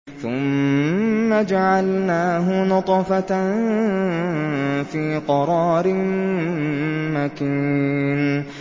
ثُمَّ جَعَلْنَاهُ نُطْفَةً فِي قَرَارٍ مَّكِينٍ